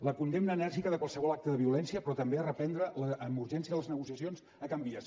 la condemna enèrgica de qualsevol acte de violència però també reprendre amb urgència les negociacions a can vies